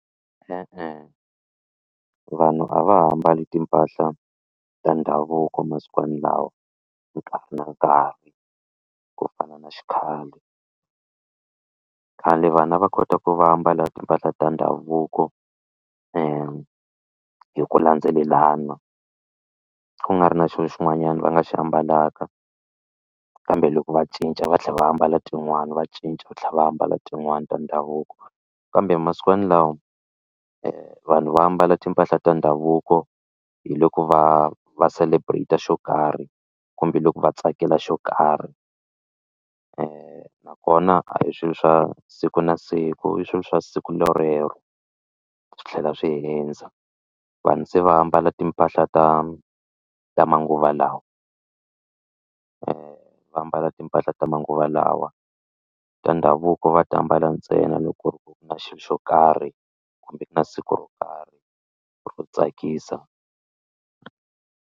E-e, vanhu a va ha mbali timpahla ta ndhavuko masikwani lawa nkarhi na nkarhi ku fana na xikhale khale vanhu a va kota ku va ambala timpahla ta ndhavuko hi ku landzelelana ku nga ri na xilo xin'wanyana va nga xi ambalaka kambe loko va cinca va tlhela va ambala tin'wani va cinca va tlhela va ambala tin'wani ta ndhavuko kambe masikwani lawa vanhu va ambala timpahla ta ndhavuko hi loko va va celebrate xo karhi kumbe loko va tsakela xo karhi nakona a hi swilo swa siku na siku i swilo swa siku rorero swi tlhela swi hundza vanhu se va ambala timpahla ta ta manguva lawa va ambala timpahla ta manguva lawa ta ndhavuko va ti ambala ntsena loko ku ri ku na xilo xo karhi kumbe na siku ro karhi ro tsakisa.